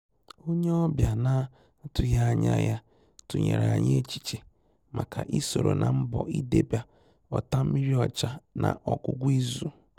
Ónyé ọ́bị̀à nà-àtụ́ghị́ ányà yá tụ́nyèrè ànyị́ échíchè màkà ị́ sòrò nà mbọ̀ ídébè ọ́tàmmírí ọ́chà nà ọ́gwụ́gwụ́ ízù.